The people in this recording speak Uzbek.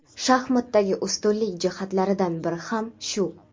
Shaxmatdagi ustunlik jihatlaridan biri ham shu.